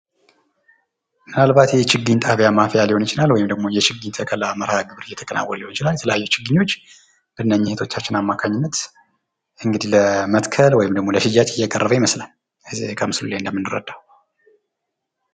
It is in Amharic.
ምናልባት የችግኝ ጣብያ ማፍያ ሊሆን ይችላል ወይም ደግሞ የችግኝ ተከላ መርሃግብር እየተከናወነ ሊሆን ይችላል። የተለያዩ ችግኞች በነኚ እህቶቻችን አማካኝነት እንግዲ ለመትከል ወይም ለሽያጭ እየቀረበ ይመስላል።